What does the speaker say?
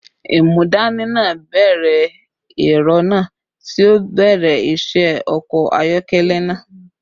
Imudani naa bẹrẹ ẹrọ naa, ti o bẹrẹ iṣẹ ọkọ ayọkẹlẹ naa